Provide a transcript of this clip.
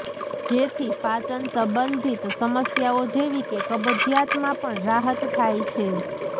જેથી પાચન સંબંધીત સમસ્યાઓ જેવી કે કબજીયાતમાં પણ રાહત થાય છે